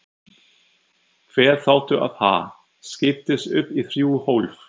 Hver þáttur af Ha? skiptist upp í þrjú hólf.